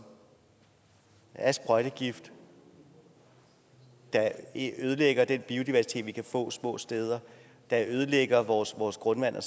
er sprøjtegift der ødelægger den biodiversitet vi kan få små steder der ødelægger vores vores grundvand